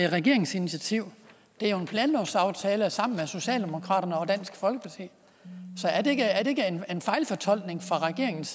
regeringsinitiativ det er en planlovsaftale er sammen med socialdemokraterne og dansk folkeparti så er det ikke en fejlfortolkning fra regeringens